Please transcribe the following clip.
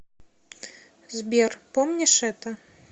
сбер помнишь это